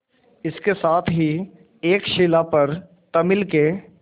इसके साथ ही एक शिला पर तमिल के